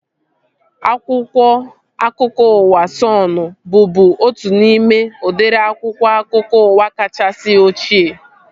Akwụkwọ akụkọ ụwa Sọnụ bụbu otu n'ime udịri akwụkwọ akụkọ ụwa kachasị ochie